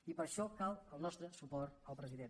i per això cal el nostre suport al president